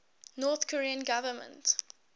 north korean government